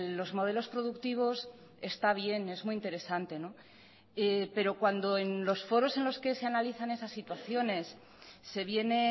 los modelos productivos está bien es muy interesante pero cuando en los foros en los que se analizan esas situaciones se viene